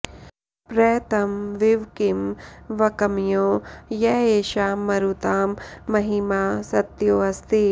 प्र तं विवक्मि वक्म्यो य एषां मरुतां महिमा सत्यो अस्ति